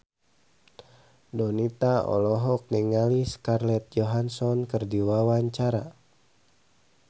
Donita olohok ningali Scarlett Johansson keur diwawancara